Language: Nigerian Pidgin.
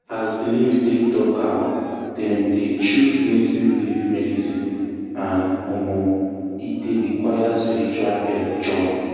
as belief take talk am dem dey choose native leaf medicine and um e dey require spiritual help join.